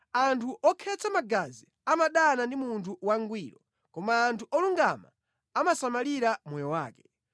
Anthu okhetsa magazi amadana ndi munthu wangwiro koma anthu olungama amasamalira moyo wake.